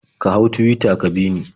Ka hau Tuwita ka bi ni.